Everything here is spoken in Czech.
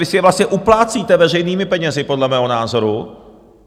Vy si je vlastně uplácíte veřejnými penězi podle mého názoru.